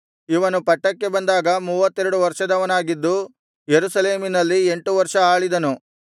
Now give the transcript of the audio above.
ಇವನು ಪಟ್ಟಕ್ಕೆ ಬಂದಾಗ ಮೂವತ್ತೆರಡು ವರ್ಷದವನಾಗಿದ್ದು ಯೆರೂಸಲೇಮಿನಲ್ಲಿ ಎಂಟು ವರ್ಷ ಆಳಿದನು